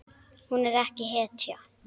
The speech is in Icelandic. Hún er ekki hetja.